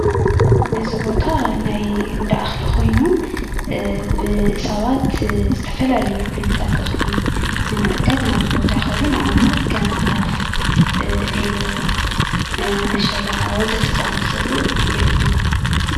እዚ ቦታ ናይ እንዳኣኽሊ ኮይኑ ብ ሰባት ዝተፈላለዩ ዓይነታት እኽሊ ንምዕዳግ ናብዚ ቦታ ይኸዱ ንኣብነት ከም ጣፍ፣ ዒልቦ፣ መሸላ ወዘተ ዝኣመሰሉ ይዕድጉ።